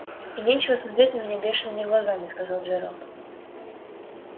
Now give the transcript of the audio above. и нечего смотреть на меня бешеными глазами сказал джералд